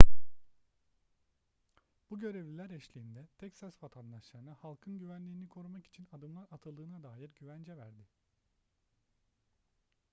bu görevliler eşliğinde teksas vatandaşlarına halkın güvenliğini korumak için adımlar atıldığına dair güvence verdi